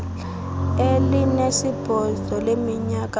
elinesibhozo leminyaka ubudala